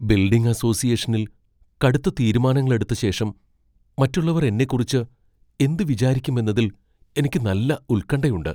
Building അസോസിയേഷനിൽ കടുത്ത തീരുമാനങ്ങൾഎടുത്ത ശേഷം മറ്റുള്ളവർ എന്നെക്കുറിച്ച് എന്ത് വിചാരിക്കും എന്നതിൽ എനിക്ക് നല്ല ഉൽകണ്ഠയുണ്ട്.